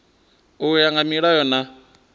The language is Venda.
u ya nga milayo na